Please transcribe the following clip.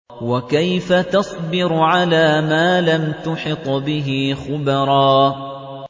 وَكَيْفَ تَصْبِرُ عَلَىٰ مَا لَمْ تُحِطْ بِهِ خُبْرًا